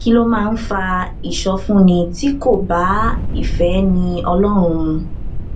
kí ló máa ń fa ìsọfúnni tí kò bá ìféni ọlórun mu